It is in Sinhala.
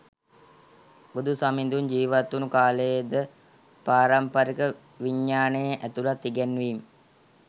බුදු සමිඳුන් ජීවත්වුණු කාලයේ ද පාරම්පරික විඥානයේ ඇතුළත් ඉගැන්වීම්